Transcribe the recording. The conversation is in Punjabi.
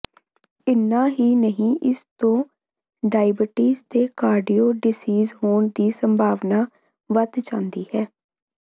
ਇਨ੍ਹਾਂ ਹੀ ਨਹੀਂ ਇਸ ਤੋਂ ਡਾਇਬਟੀਜ਼ ਤੇ ਕਾਰਡਿਓ ਡਿਜੀਜ਼ ਹੋਣ ਦੀ ਸੰਭਾਵਨਾ ਵਧ ਜਾਂਦੀ ਹੈ